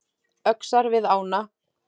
Öxar við ána